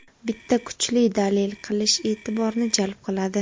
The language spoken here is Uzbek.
bitta kuchli dalil qilish e’tiborni jalb qiladi.